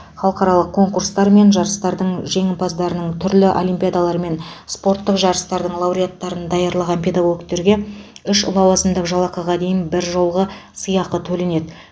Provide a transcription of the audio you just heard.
халықаралық конкурсттар мен жарыстардың жеңімпаздарын түрлі олимпиадалармен спорттық жарыстардың лауреаттарын даярлаған педагогтерге үш лауазымдық жалақыға дейін біржолғы сыйақы төленеді